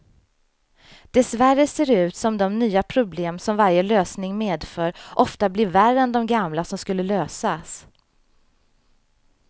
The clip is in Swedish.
Dessvärre ser det ut som de nya problem som varje lösning medför ofta blir värre än de gamla som skulle lösas.